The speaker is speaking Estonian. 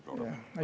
Aitäh!